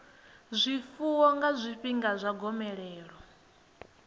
zwifuwo nga zwifhinga zwa gomelelo